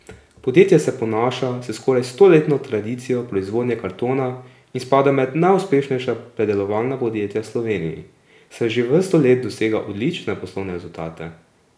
Podjetje se ponaša s skoraj stoletno tradicijo proizvodnje kartona in spada med najuspešnejša predelovalna podjetja v Sloveniji, saj že vrsto let dosega odlične poslovne rezultate.